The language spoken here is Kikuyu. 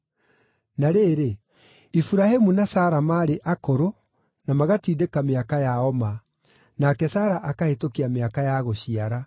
Na rĩrĩ, Iburahĩmu na Sara maarĩ akũrũ na magatindĩka mĩaka yao ma, nake Sara akahĩtũkia mĩaka ya gũciara.